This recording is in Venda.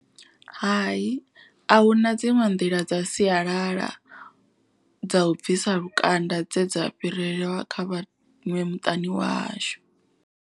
Hai ahuna dziṅwe nḓila dza sialala dza u bvisa lukanda. Dze dza fhirela kha vhaṅwe muṱani wa hashu.